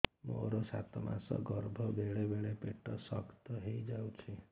ମୋର ସାତ ମାସ ଗର୍ଭ ବେଳେ ବେଳେ ପେଟ ଶକ୍ତ ହେଇଯାଉଛି